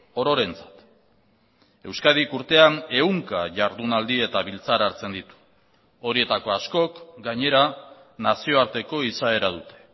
ororentzat euskadik urtean ehunka jardunaldi eta biltzar hartzen ditu horietako askok gainera nazioarteko izaera dute